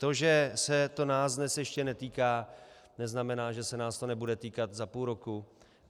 To, že se nás to dnes ještě netýká, neznamená, že se nás to nebude týkat za půl roku.